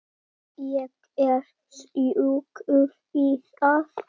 Ég er sjúkur í það!